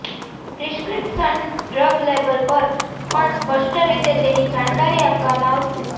prescription drug label પર પણ સ્પષ્ટ રીતે તેની જાણકારી આપવામાં આવશે